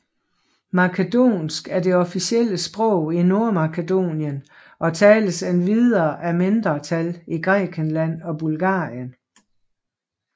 Makedonsk er det officielle sprog i Nordmakedonien og tales endvidere af mindretal i Grækenland og Bulgarien